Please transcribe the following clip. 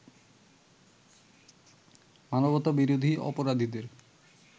মানবতাবিরোধী অপরাধীদের